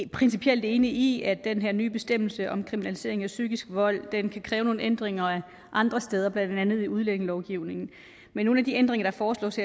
principielt enige i at den her nye bestemmelse om kriminalisering af psykisk vold kan kræve nogle ændringer andre steder blandt andet i udlændingelovgivningen men nogle af de ændringer der foreslås